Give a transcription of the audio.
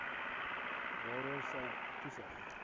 waaroor sy toesig